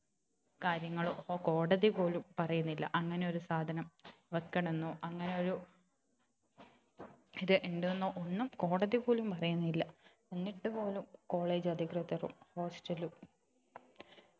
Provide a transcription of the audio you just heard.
കാര്യങ്ങളും കോടതി പോലും പറയുന്നില്ല അങ്ങനെ ഒരു സാധനം വെക്കണന്നോ അങ്ങനെ ഒരു ഇത് ഉണ്ടന്നോ കോടതി പോലും പറയുന്നില്ല എന്നിട്ടു പോലും college അധികൃതരും hostel ലും